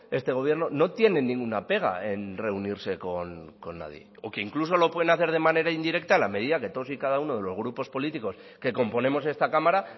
este gobierno no tienen ninguna pega en reunirse con nadie o que incluso lo pueden hacer de manera indirecta en la medida en que todos y cada uno de los grupos políticos que componemos esta cámara